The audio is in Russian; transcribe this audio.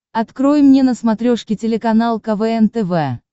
открой мне на смотрешке телеканал квн тв